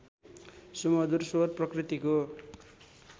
सुमधुर स्वर प्रकृतिको